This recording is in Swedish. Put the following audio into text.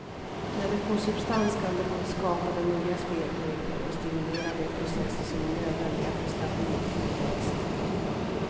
När det får substans kan det både skapa de nya spelregler och stimulera de processer som är nödvändiga för stabil tillväxt.